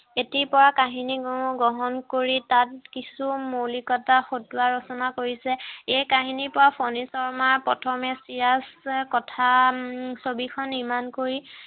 এটি কাহিনী সমুহ গ্ৰহণ কৰি তাত কিছু মৌলিকতা, হতুৱাই ৰচনা কৰিছে এই কাহিনীৰ পৰা ফনী শৰ্মাৰ প্ৰথমে চিৰাজ কথা ছবি খন নিৰ্মাণ কৰি